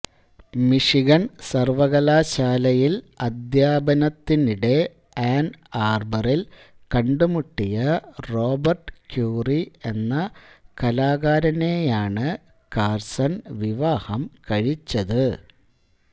Michigan സർവകലാശാലയിൽ അദ്ധ്യാപനത്തിനിടെ Ann ആർബറിൽ കണ്ടുമുട്ടിയ റോബർട്ട് ക്യൂറി എന്ന കലാകാരനെയെയാണ് കാർസൺ വിവാഹം കഴിച്ചത്